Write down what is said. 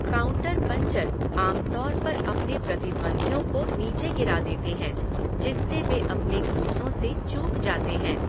Counter puncher आम तौर पर अपने प्रतिद्वंद्वियों को नीचे गिरा देते हैं जिससे वे अपने घूँसों से चूक जाते हैं।